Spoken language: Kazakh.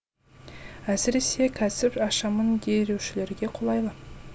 әсіресе кәсіп ашамын деушілерге қолайлы